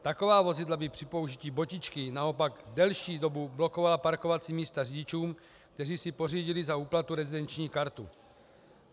Taková vozidla by při použití botičky naopak delší dobu blokovala parkovací místa řidičům, kteří si pořídili za úplatu rezidenční kartu.